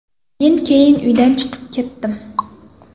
Men keyin uydan chiqib ketdim.